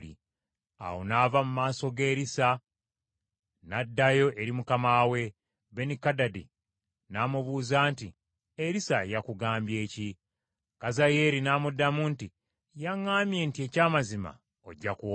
Awo n’ava mu maaso ga Erisa, n’addayo eri mukama we. Benikadadi n’amubuuza nti, “Erisa yakugambye ki?” Kazayeeri n’amuddamu nti, “Yaŋŋambye nti eky’amazima ojja kuwona.”